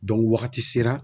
wagati sera